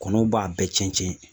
Kɔnɔw b'a bɛɛ cɛn cɛn